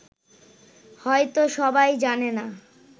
হয়ত সবাই জানে না